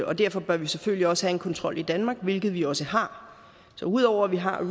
og derfor bør vi selvfølgelig også have en kontrol i danmark hvilket vi også har så ud over at vi har